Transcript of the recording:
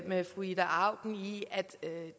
med fru ida auken i at